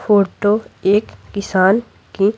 photo एक किसान की--